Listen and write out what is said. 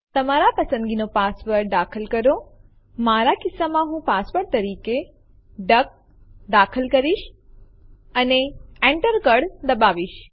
તમારા પસંદગીનો પાસવર્ડ દાખલ કરો મારા કિસ્સામાં હું પાસવર્ડ તરીકે ડક દાખલ કરીશ અને Enter કળ દબાવીશ